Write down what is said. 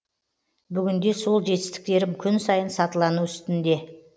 бүгінде сол жетістіктерім күн сайын сатылану үстінде